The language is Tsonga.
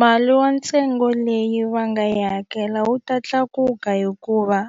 Mali wa ntsengo leyi va nga yi hakela wu ta tlakuka hikuva